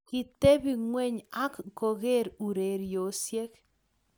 kitebi ng'weny ak kokeer ureriosiek